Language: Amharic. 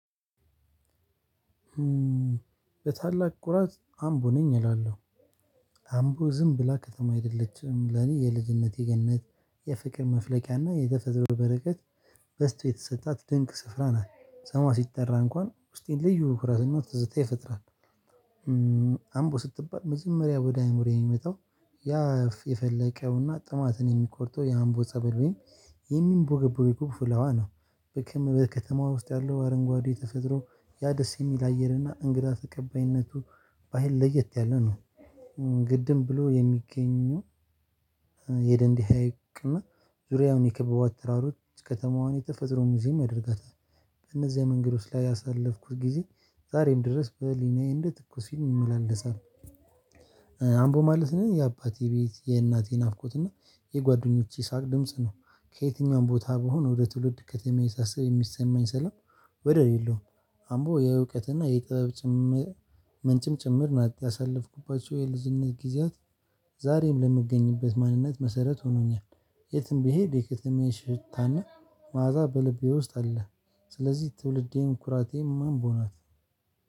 በታላቅ ኩራት አምቦ ነኝ እላለሁ። አምቦ ዝም ከተማ አይደለችም። ለኔ የልጅነቴ ገነት የፍቅር መፍለቂያና የተፈጥሮ በረከት በዝቶ የተሰጣት ድንቅ ስፍራ ነው ሰማ ሲጠራ እንኳን ውስጤን ልዩ ኩራትና ትዝታ ይፈጥራል። አምቦ ስትባል መጀመሪያ ወደ አእምሮ የሚመጣው ያ የፈለቀውና ጥማትን የሚቆርጠው የአምቦ ጸበል ወይም የሚንቦገቦገው ፍልውሀዋ ነው። ከተማዋ ውስጥ ያለው አረንጓዴ ተፈጥሮ ያ ደስ የሚል አየርና እንግዳ ተቀባይነቱ ባህል ለየት ያለ ነው። ግድም ብሎ የሚገኘው የደንዲ ሀይቅ እና ዙሪያውን የከበቧት ተራሮች ከተማዋን የተፈጥሮ ሙዚየም ያደርጋታል። በእነዚያ መንገዶች ላይ ያሳለፍኩት ጊዜ ዛሬም ድረስ በህሊናዬ እንደ ትኩስ ይመላለሳል። አምቦ ማለት ለኔ የአባቴ ቤት፤ የእናቴ ናፍቆት እና የጓደኞቼ ሳቅ ድምጽ ነው። ከየትኛውም ቦታ ብሆን ወደ ትውልድ ከተማ ሳሰብ የሚሰማኝ ሰላም ወደር የሌለውም። አምቦ የእውቀትና የጥበብ ምንጭም ጭምር ነት። ያሳለፍኩባቸው የልጅነት ጊዜያት ዛሬም ለምገኝበት ማንነት መሰረት ሆኖኛል። የትም ብሄድ የከተማዬን ሽታና መዓዛ በልቤ ውስጥ አለ። ስለዚህ ትውልዴን ኩራቴም አምቦ ናት።